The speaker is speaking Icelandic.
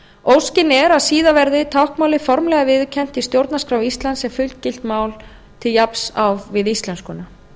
óskin er að síðar verði táknmálið formlega viðurkennt í stjórnarskrá íslands sem fullgilt mál til jafns við íslenskuna